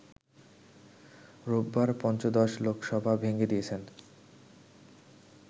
রোববার পঞ্চদশ লোকসভা ভেঙে দিয়েছেন